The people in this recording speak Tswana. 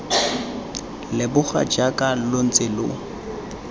leboga jaaka lo ntse lo